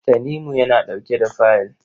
Tanimu yana ɗauke da fayil.